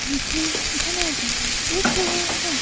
पीछे घना जंगल दिख रहा है।